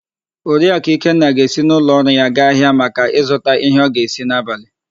Oriakụ Ikenna ga-esi n'ụlọọrụ ya gaa ahịa maka ịzụta íhé ọ ga-esi n'abalị.